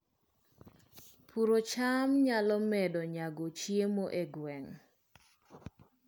Puodho cham nyalo medo nyago chiemo e gwenge